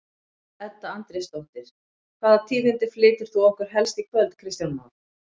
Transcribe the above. Edda Andrésdóttir: Hvaða tíðindi flytur þú okkur helst í kvöld Kristján Már?